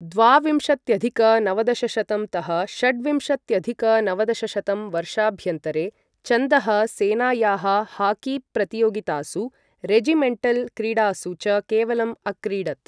द्वाविंशत्यधिक नवदशशतं तः षड्विंशत्यधिक नवदशशतं वर्षाभ्यन्तरे, चन्दः सेनायाः हाकीप्रतियोगितासु, रेजिमेण्टल् क्रीडासु च केवलं अक्रीडत्।